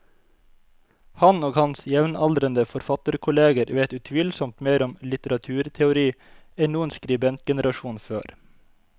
Han og hans jevnaldrende forfatterkolleger vet utvilsomt mer om litteraturteori enn noen skribentgenerasjon før.